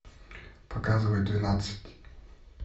показывай двенадцать